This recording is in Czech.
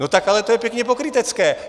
No tak ale to je pěkně pokrytecké.